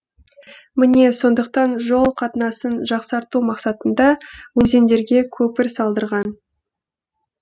міне сондықтан жол қатынасын жақсарту мақсатында өзендерге көпір салдырған